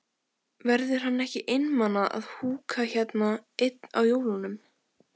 Verður hann ekki einmana að húka hérna einn á jólunum?